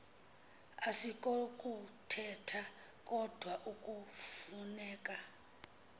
asikokuthetha kodwa kufuneka